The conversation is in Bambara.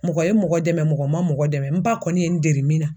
Mɔgɔ ye mɔgɔ dɛmɛ, mɔgɔ ma mɔgɔ dɛmɛ , n ba kɔni ye n dege min na